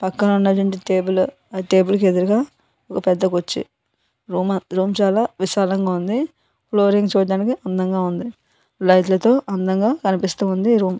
ఇక్కడ ఉన్న రెండు టేబుల్ . ఆ టేబుల్ కి ఎదురుగా ఒక పెద్ద కుర్చీ. రూమ్ చాలా విశాలంగా ఉంది. ఫ్లోరింగ్ చూడ్డానికి అందంగా ఉంది. లైట్లతో అందంగా కనిపిస్తూ ఉంది.